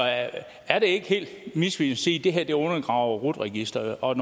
er det ikke helt misvisende at det her undergraver rut registeret